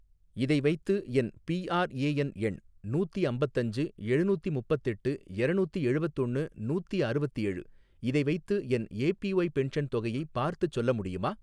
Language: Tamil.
இதை வைத்து என் பிஆர்ஏஎன் எண் நூத்தி அம்பத்தஞ்சு எழுநூத்தி முப்பத்தெட்டு எரநூத்தி எழுவத்தொன்னு நூத்தி அறுவத்தேழு, இதை வைத்து என் ஏபிஒய் பென்ஷன் தொகையை பார்த்துச் சொல்ல முடியுமா?